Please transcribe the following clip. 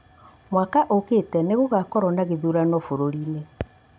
mwaka ũkĩte nĩ gũgakorwo na gĩthurano bũrũri-inĩ